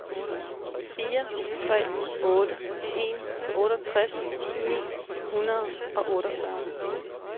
fire tre otte en otteogtres ni hundrede og otteogfyrre